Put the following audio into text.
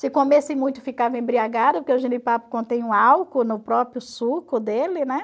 Se comesse muito ficava embriagado, porque o jenipapo contém um álcool no próprio suco dele, né?